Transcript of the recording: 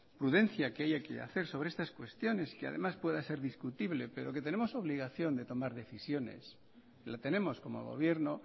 prudencia que haya que hacer sobre estas cuestiones que además pueda ser discutible pero que tenemos obligación de tomar decisiones la tenemos como gobierno